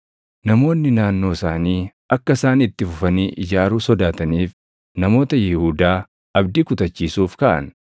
Namoonni naannoo isaanii akka isaan itti fufanii ijaaruu sodaataniif namoota Yihuudaa abdii kutachiisuuf kaʼan.